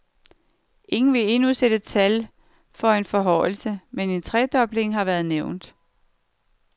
Ingen vil endnu sætte tal for en forhøjelse, men en tredobling har været nævnt.